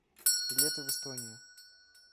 билеты в эстонию